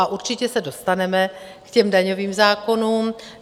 A určitě se dostaneme k těm daňovým zákonům.